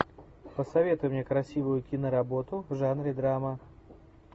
посоветуй мне красивую киноработу в жанре драма